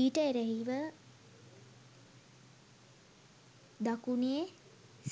ඊට එරෙහිව දකුණේ